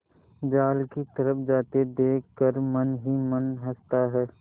जाल की तरफ जाते देख कर मन ही मन हँसता है